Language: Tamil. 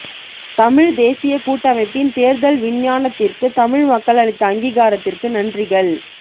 தமிழ்த் தேசியக் கூட்டமைப்பின் தேர்தல் விஞ்ஞாபனத்திற்கு தமிழ் மக்கள் அளித்த அங்கீகாரத்திற்கு நன்றிகள்